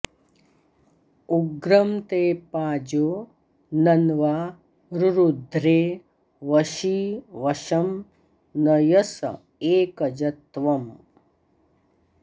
उग्रं ते पाजो नन्वा रुरुध्रे वशी वशं नयस एकज त्वम्